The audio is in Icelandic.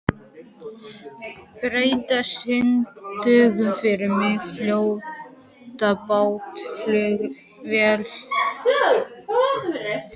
Petrea, syngdu fyrir mig „Fjólublátt flauel“.